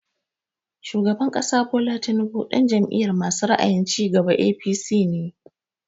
Shugaban ƙasa Bola Tinubu ɗan Jam'iyar masu ra'ayin cigaba (APC) ne